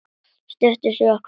Stuttu síðar kom Jóakim.